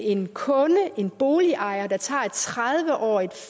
en kunde en boligejer der tager et tredive årig